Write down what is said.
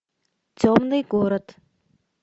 темный город